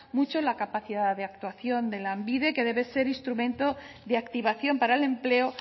mucho la capacidad de actuación de lanbide que debe ser instrumento de activación para el empleo